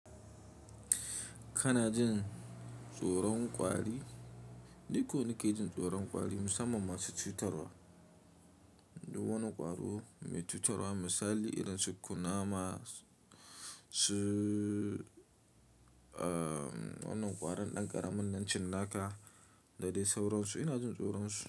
Kana jin tsoron ƙwari ni ko nake jin tsoron ƙwari musamman masu cutarwa? Duk wani ƙwaro mai cutarwa misali irin su kunama, su wanan ƙwarin ɗan ƙaramin nan cinnaka da dai sauransu ina jin tsoron su.